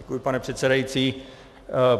Děkuji, pane předsedající.